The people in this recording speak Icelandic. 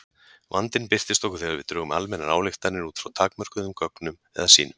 Vandinn birtist okkur þegar við drögum almennar ályktanir út frá takmörkuðum gögnum eða sýnum.